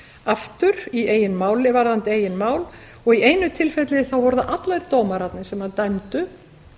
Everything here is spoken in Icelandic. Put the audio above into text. aftur varðandi eigið mál og í einu tilfelli voru það allir dómararnir sem dæmdu